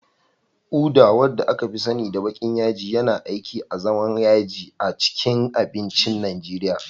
Uda, wanda aka fi sani da baƙin yaji, yana aiki azaman yaji a cikin abincin Najeriya